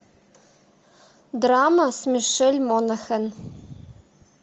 драма с мишель монахэн